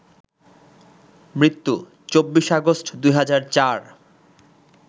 মৃত্যু: ২৪ আগস্ট, ২০০৪